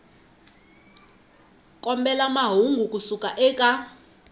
kombela mahungu ku suka eka